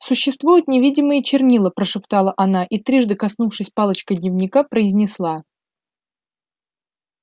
существуют невидимые чернила прошептала она и трижды коснувшись палочкой дневника произнесла